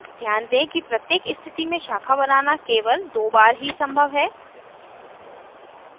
ध्यान दें कि प्रत्येक स्थिति में शाखा बनाना केवल दो बार ही संभव है